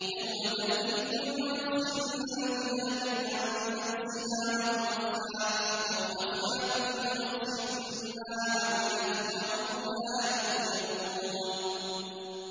۞ يَوْمَ تَأْتِي كُلُّ نَفْسٍ تُجَادِلُ عَن نَّفْسِهَا وَتُوَفَّىٰ كُلُّ نَفْسٍ مَّا عَمِلَتْ وَهُمْ لَا يُظْلَمُونَ